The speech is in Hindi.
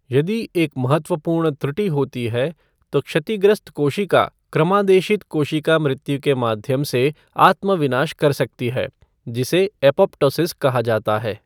यदि एक महत्वपूर्ण त्रुटि होती है, तो क्षतिग्रस्त कोशिका क्रमादेशित कोशिका मृत्यु के माध्यम से आत्म विनाश कर सकती है, जिसे एपोप्टोसिस कहा जाता है।